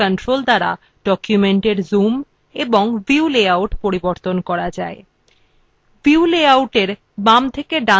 writer status bar তিনটি controls দ্বারা document zoom এবং view লেআউট পরিবর্তন করা যায়